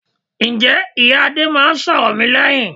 Ǹjẹ́ ìyá Adé máa ń sọ̀rọ̀ mi lẹ́yìn?